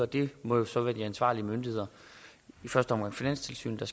det må så være de ansvarlige myndigheder i første omgang finanstilsynet og